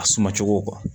A suma cogo